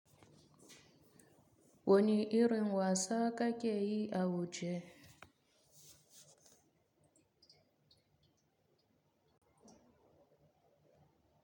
Wani irin wasa ka ke yi a wuje?